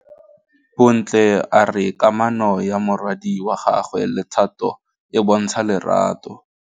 Bontle a re kamanô ya morwadi wa gagwe le Thato e bontsha lerato.